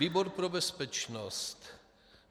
"Výbor pro bezpečnost